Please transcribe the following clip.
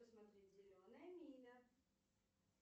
посмотреть зеленая миля